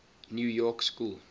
new york school